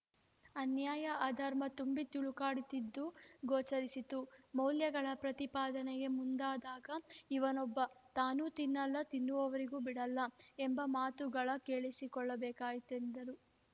ಅನ್ಯಾಯ ಅಧರ್ಮ ತುಂಬಿ ತುಳುಕಾಡುತ್ತಿದ್ದುದು ಗೋಚರಿಸಿತು ಮೌಲ್ಯಗಳ ಪ್ರತಿಪಾದನೆಗೆ ಮುಂದಾದಾಗ ಇವನೊಬ್ಬ ತಾನೂ ತಿನ್ನಲ್ಲ ತಿನ್ನುವವರಿಗೂ ಬಿಡಲ್ಲ ಎಂಬ ಮಾತುಗಳ ಕೇಳಿಸಿಕೊಳ್ಳಬೇಕಾಯಿತೆಂದರು